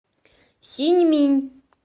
синьминь